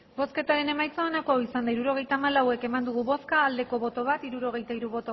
hirurogeita hamalau eman dugu bozka bat bai hirurogeita hiru